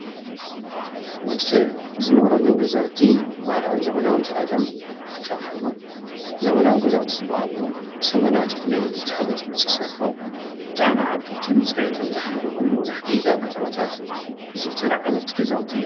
ወድ ሰብ ዝነብረሎም ገዛውቲ ባህላውን ዘመናውን ተባሂሎም አብ ክልተ ይኽፈሉ። ዘመናዊ ገዛውቲ ዝበሃሉ ብዘመናዊ ቴክኖሎጂ ተሓጊዞም ዝተሰርሑ ብጣዕሚ ዓበይትን ፅሬቶም ዝሓለውን መብዛሕትኡ ግዘ አብ ከተማታት ዝዝውተሩ ዓይነት ገዛውቲ እዮም።